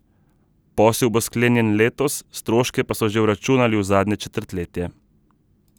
Posel bo sklenjen letos, stroške pa so že vračunali v zadnje četrtletje.